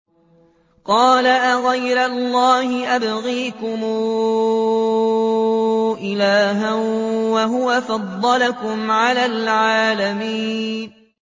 قَالَ أَغَيْرَ اللَّهِ أَبْغِيكُمْ إِلَٰهًا وَهُوَ فَضَّلَكُمْ عَلَى الْعَالَمِينَ